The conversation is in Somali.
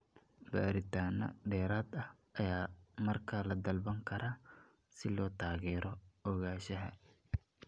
Baadhitaano dheeraad ah ayaa markaa la dalban karaa si loo taageero ogaanshaha.